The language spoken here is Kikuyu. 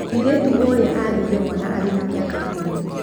Mũirĩtu ũrĩa agĩire mwana arĩ na mĩaka ikũmi.